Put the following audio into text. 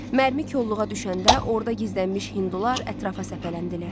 Mərmi kolluğa düşəndə orda gizlənmiş hindular ətrafa səpələndilər.